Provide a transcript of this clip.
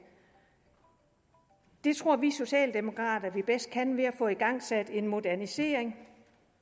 det tror vi socialdemokrater at vi bedst kan ved at få igangsat en modernisering